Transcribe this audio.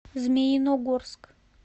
змеиногорск